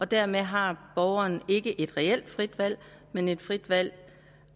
dermed har borgeren ikke et reelt frit valg men noget frit valg